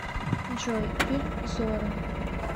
джой фильм зорро